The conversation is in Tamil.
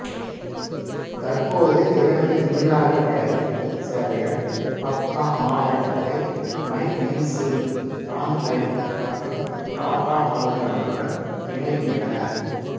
தற்போது இரண்டு நீராவி படகு சேவைகள் பப்னா மாவட்டத்தை மைமென்சிங் டாங்கைல் மற்றும் டாக்கா மாவட்டங்களுடன் இணைக்கின்றன